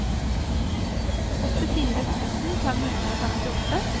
åttifire tusen fem hundre og femtiåtte